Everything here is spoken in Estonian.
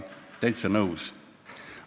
Täitsa nõus.